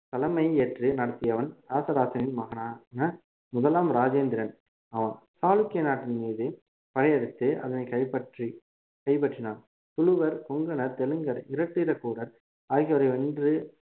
தலைமை ஏற்று நடத்தியவன் ராசராசனின் மகனான முதலாம் ராஜேந்திரன் ஆம் சாளுக்கிய நாட்டின் மீது படையெடுத்து அதனை கைப்பற்றி கைப்பற்றினான் துளுவர் கொங்கணர் தெலுங்கர் இராட்டிரகூடர் ஆகியோரை வென்று